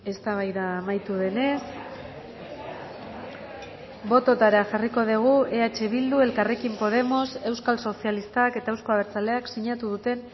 eztabaida amaitu denez bototara jarriko dugu eh bildu elkarrekin podemos euskal sozialistak eta euzko abertzaleak sinatu duten